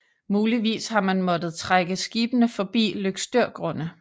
Muligvis har man måttet trække skibene forbi Løgstørgrunde